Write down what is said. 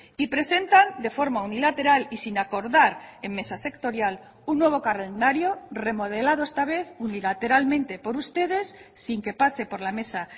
y presentan de forma unilateral y sin acordar en mesa sectorial un nuevo calendario remodelado esta vez unilateralmente por ustedes sin que pase por la mesa